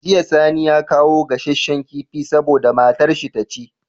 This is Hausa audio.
Jiya sani ya kawo gassashen kifi saboda matar shi taci